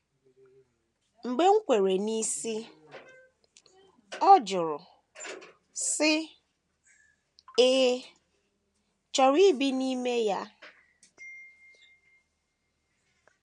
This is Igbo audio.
Mgbe m kwere n’isi, ọ jụrụ, sị, “ Ị̀ chọrọ ibi n’ime ya? ”